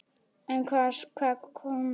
En hvað kom svo síðar á daginn?